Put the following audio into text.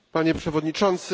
Panie przewodniczący!